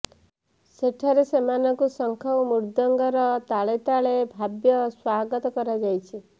ସେଠାରେ ସେମାନଙ୍କୁ ଶଙ୍ଖ ଓ ମୃଦଙ୍ଗର ତାଳେ ତାଳେ ଭବ୍ୟ ସ୍ୱାଗତ କରାଯାଇଛି